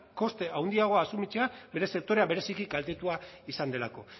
koste handiagoa asumitzea bere sektorea bereziki kaltetua izan delako